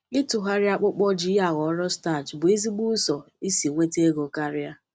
Ịtụgharị akpụkpọ ji ya aghọrọ starch bụ ezigbo ụzọ isi nweta ego karịa.